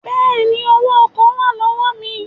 Bẹ́ẹ̀ni, Owó ọkọ̀ wà lọ́wọ́ mi